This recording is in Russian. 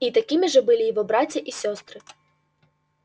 и такими же были его братья и сестры